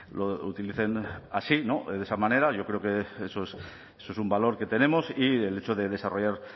lo utilicen así de esa manera yo creo que eso es un valor que tenemos y el hecho de desarrollar